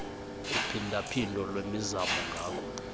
uphindaphindo lwemizamo ngako